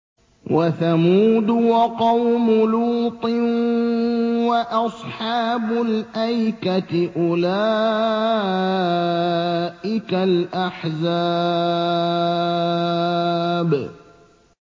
وَثَمُودُ وَقَوْمُ لُوطٍ وَأَصْحَابُ الْأَيْكَةِ ۚ أُولَٰئِكَ الْأَحْزَابُ